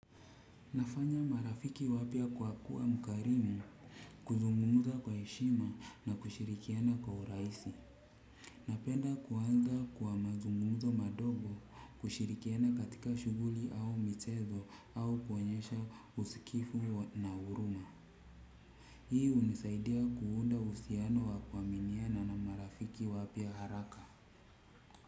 Nafanya marafiki wapya kwa kuwa mkarimu kuzungumuza kwa heshima na kushirikiana kwa urahisi. Napenda kuanza kuwa mazungumuzo madogo kushirikiana katika shuguli au michezo au kuonyesha usikifu na uruma. Hii unisaidia kuunda uhusiano wa kuaminiana na marafiki wapya haraka.